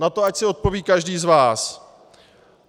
Na to ať si odpoví každý z vás.